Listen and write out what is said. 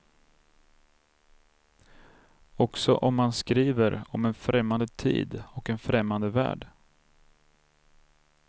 Också om man skriver om en främmande tid och en främmande värld.